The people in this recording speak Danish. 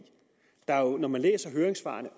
når man læser høringssvarene